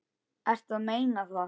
Ertu að meina það?